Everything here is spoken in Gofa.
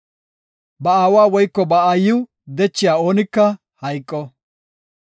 “Ba aawa woyko ba aayiw dechiya oonika hayqo.